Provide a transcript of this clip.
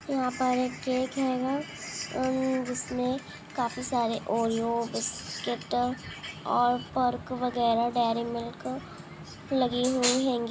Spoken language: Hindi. यहाँ पर एक केक हैगा उसमे काफी सारे ओरेओ बिस्कुट और पर्क वगेरा डेरी मिल्क लगी हुई हैंगी।